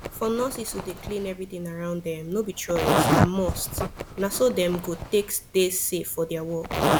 for nurses to dey clean everything around them no be choice na must na so dem go take dey safe for their work